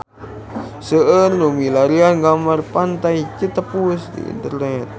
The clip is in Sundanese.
Seueur nu milarian gambar Pantai Citepus di internet